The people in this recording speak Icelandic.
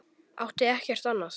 Átti ekkert annað.